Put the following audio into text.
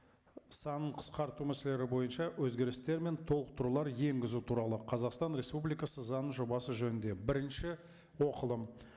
санын қысқарту мәселелері бойынша өзгерістер мен толықтырулар енгізу туралы қазақстан республикасы заңының жобасы жөнінде бірінші оқылым